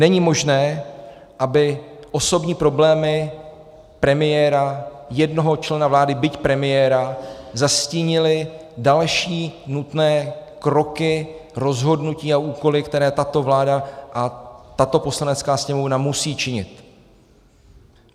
Není možné, aby osobní problémy premiéra, jednoho člena vlády, byť premiéra, zastínily další nutné kroky rozhodnutí a úkoly, které tato vláda a tato Poslanecká sněmovna musí činit.